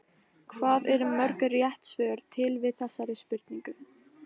Hvað eru mörg rétt svör til við þessari spurningu?